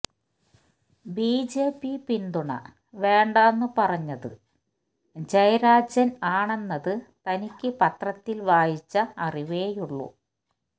BJP പിന്തുണ വേണ്ടാന്ന് പറഞ്ഞത് ജയരാജൻ ആണെന്നത് തനിക്ക് പത്രത്തിൽ വായിച്ച അറിവേയുള്ളു